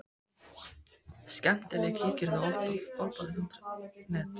Skemmtileg Kíkir þú oft á Fótbolti.net?